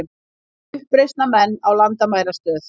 Uppreisnarmenn ná landamærastöð